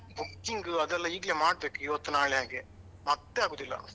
Booking ಅದೆಲ್ಲ ಈಗ್ಲೇ ಮಾಡಬೇಕು ಇವತ್ತು ನಾಳೆ ಹಾಗೆ, ಮತ್ತೆ ಆಗುದಿಲ್ಲ.